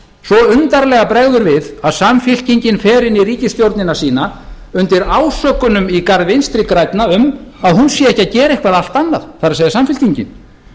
svo undarlega bregður við að samfylkingin fer inn í ríkisstjórnina sína undir ásökunum í garð vinstri grænna um að hún sé ekki að gera eitthvað allt annað það er samfylkingin því vil